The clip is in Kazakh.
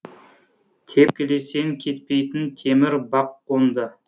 тепкілесең кетпейтін темір бақ қонды